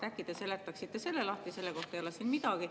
Äkki te seletaksite selle lahti, selle kohta ei ole siin midagi.